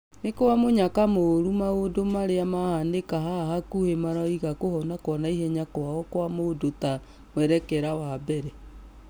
Nũkwamũnyaka mũru maũndũ marĩa mahanĩka haha hakũhĩ maraiga kũhonakwanaihenyakwao mũndũ ta mwerekera wa mbere .